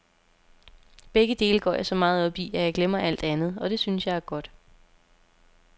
Begge dele går jeg så meget op i, at jeg glemmer alt andet, og det synes jeg er godt.